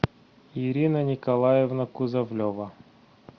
ирина николаевна кузовлева